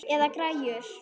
Eða græjur.